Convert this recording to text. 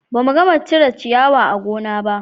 Ba mu gama cire ciyawa a gona ba